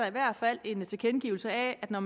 i hvert fald en tilkendegivelse af at når